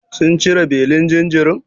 Sun cire belin jinjirin?